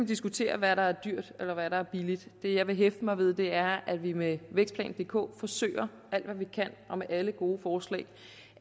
diskutere hvad der er dyrt og hvad der er billigt det jeg vil hæfte mig ved er at vi med vækstplan dk forsøger alt hvad vi kan med alle gode forslag